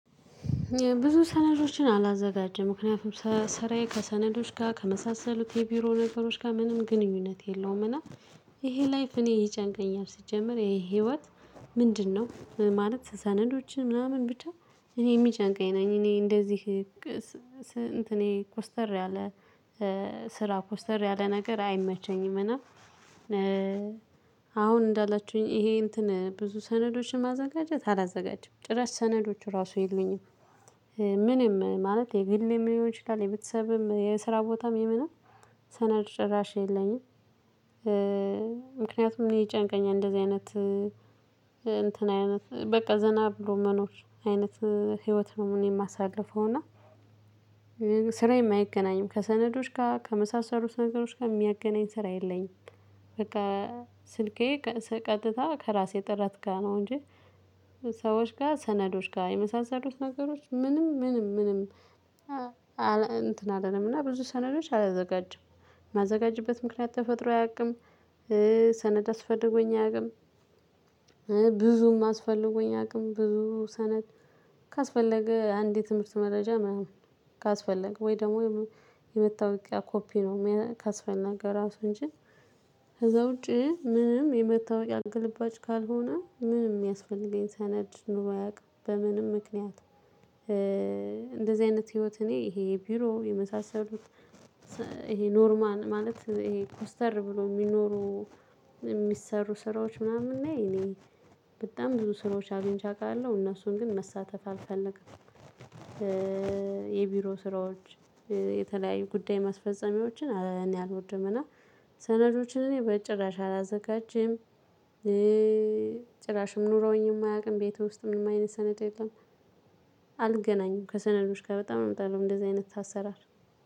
ብዙ ሰነዶችን አላዘጋጀም ምክንያቱም ስራዬ ከሰነዶች ጋር ከመሳሰሉት የቢሮ ነገሮች ጋር ምንም ግንኙነት የለውም። እና ይሄ ላይፍ እኔ ይጨንቀኛል ስጀምር ይሄ ህይወት ምንድነው? ማለት ሰነዶችን ምናምን ብቻ እኔ የሚጨንቀኝ ነኝ እኔ እንደዚህ እንትኔ ኮስተር ያለ ስራ ኮስተር ያለ ነገር አይመቸኝም። እና አሁን እንዳላችሁኝ ይሄ እንትን ብዙ ሰነዶችን ማዘጋጀት አላዘጋጀም ጭራሽ ሰነዶች ራሱ የሉኝም። ምንም ማለት የግል የሚሆን ይችላል የቤተሰብም የስራ ቦታም የምና ሰነድ ጭራሽ የለኝም። ምክንያቱም አኔ ይጨንቀኛል እንደዚህ አይነት እንትን አይነት በቃ ዘና ብሎ መኖር አይነት ህይወት ነው እኔ የማሳልፈው እና። ስራዬም አይገናኝም ከሰነዶች ጋር ከመሳሰሉት ነገሮች ጋር የሚያገናኝ ስራ የለኝም። በቃ ስልኬ ቀጥታ ከራሴ ጥረት ጋር ነው እንጂ ሰዎች ጋር ሰነዶች ጋር የመሳሰሉት ነገሮች ምንም ምንም ምንም። እንትን አይደለም እና ብዙ ሰነዶች አላዘጋጀም የማዘጋጅበት ምክንያት ተፈጥሮ አያውቅም። ሰነድ አስፈልጎኝ አያውቅም። ብዙም አስፈልጎኝ አያውቅም ብዙ ሰነድ ካስፈለገ አንድ የትምህርት መረጃ ምናምን ካስፈለገ ወይ ደግሞ የመታወቂያ ኮፒ ነው ካስፈለገ ራሱ እንጂ። ከዛ ውጪ ምንም የመታወቂያ ግልባጭ ካልሆነ ምንም የሚያስፈልገኝ ስነድ ኖሮ አያውቅም በምንም ምክንያት። እንደዚህ አይነት ህይወት እኔ ይሄ የቢሮ የመሳሰሉት ይሄ ኖርማል ማለት ይሄ ኮስተር ብሎ የሚኖሩ የሚሰሩ ስራዎች ምናምና ለይ እኔ በጣም ብዙ ስራዎች አግኝቼ አውቃለሁ እነሱን ግን መሳተፍ አልፈልግም። የቢሮ ስራዎች የተለያዩ ጉዳይ ማስፈጸሚያዎችን እኔ አልወድም። እና ሰነዶችን እኔ በጭራሽ አላዘጋጅም። ጭራሽም ኑረውኝም አያቅም ቤቱ ውስጥ ምንም አይነት ሰነድ የለም። አልገናኝም ከሰነዶች ጋር በጣም እምጣለሁ እንደዚህ አይነት ታሰራለህ።